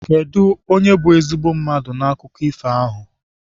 Kedụ onye bụ ezigbo mmadụ n'akụkọ ifo ahụ?